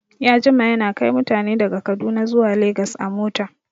Ya jima yana kai mutane daga kaduna zuwa legas a mota